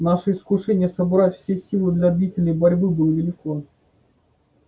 наше искушение собрать все силы для длительной борьбы было велико